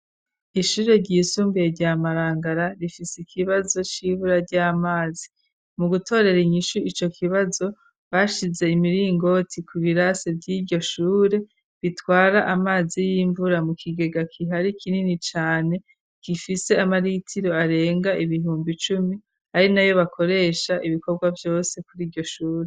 Ishure ryisumbiye rya Marangara rifise ikibazo cibura ry'amazi mu gutorera inyishu iyo kibazo bashize imiringoti ku birase vy'iryoshure bitwara amazi y'imvura mu kigega kihari kinini cane gifise amaritiro arenga ibihumbi cumi ari nayo bakoresha ibikorwa vyose kuri iryoshure.